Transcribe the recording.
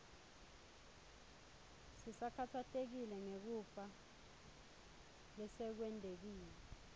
sisakhatsatekile ngekufa lesekwentekile